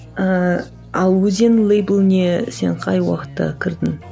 ыыы ал өзен лэйбліне сен қай уақытта кірдің